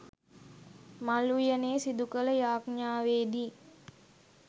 මල් උයනේ සිදු කළ යාච්ඤාවේදී